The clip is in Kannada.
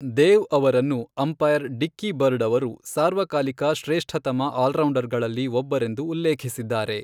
ದೇವ್ ಅವರನ್ನು ಅಂಪೈರ್ ಡಿಕ್ಕಿ ಬರ್ಡ್ ಅವರು ಸಾರ್ವಕಾಲಿಕ ಶ್ರೇಷ್ಠತಮ ಆಲ್ರೌಂಡರ್ಗಳಲ್ಲಿ ಒಬ್ಬರೆಂದು ಉಲ್ಲೇಖಿಸಿದ್ದಾರೆ.